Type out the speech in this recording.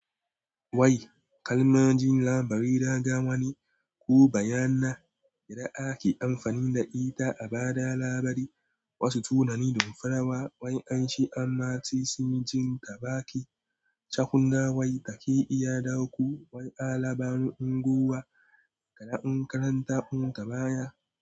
Wai kalma jin labari raga wani ko bayyana da ake amfani da ita a ba da labari. Wasu tunani don farawa wai an shi amma sai sun jin ta baki. Chakun na wai ta ke iya dauko wai alaban unguwa da na nkaranta mun ta baya.